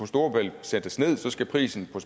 storebælt sættes ned skal prisen på